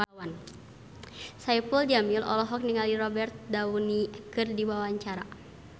Saipul Jamil olohok ningali Robert Downey keur diwawancara